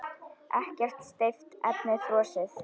Ekkert steypt, efnið frosið.